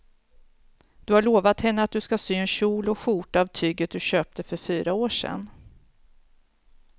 Du har lovat henne att du ska sy en kjol och skjorta av tyget du köpte för fyra år sedan.